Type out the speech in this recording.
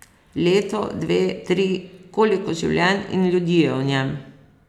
Leto, dve, tri, koliko življenj in ljudi v njem?